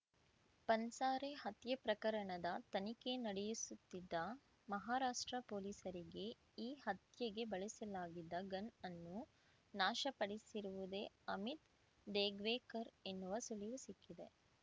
ಪನ್ಸಾರೆ ಹತ್ಯೆ ಪ್ರಕರಣದ ತನಿಖೆ ನಡೆಯಿಸುತ್ತಿದ್ದ ಮಹಾರಾಷ್ಟ್ರ ಪೊಲೀಸರಿಗೆ ಈ ಹತ್ಯೆಗೆ ಬಳಸಲಾಗಿದ್ದ ಗನ್‌ ಅನ್ನು ನಾಶ ಪಡಿಸಿರುವುದೇ ಅಮಿತ್‌ ದೇಗ್ವೇಕರ್ ಎನ್ನುವ ಸುಳಿವು ಸಿಕ್ಕಿದೆ